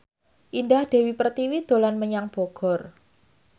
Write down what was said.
Indah Dewi Pertiwi dolan menyang Bogor